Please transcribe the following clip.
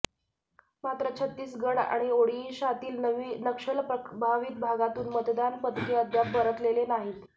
मात्र छत्तीसगड आणि ओडिशातील नक्षल प्रभावित भागातून मतदान पथके अद्याप परतलेले नाहीत